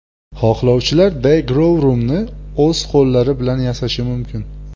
Xohlovchilar The Growroom’ni o‘z qo‘llari bilan yasashi mumkin.